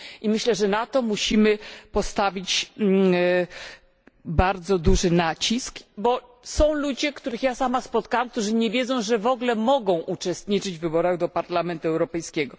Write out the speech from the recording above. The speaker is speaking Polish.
I myślę, że na to musimy położyć bardzo duży nacisk, bo są ludzie, których ja sama spotkałam którzy nie wiedzą, że w ogóle mogą uczestniczyć w wyborach do Parlamentu Europejskiego.